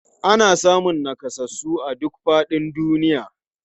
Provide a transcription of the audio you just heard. Ana samun nakasassu a duk faɗin duniya.